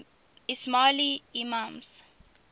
ismaili imams